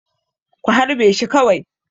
Ku harbe shi kawai!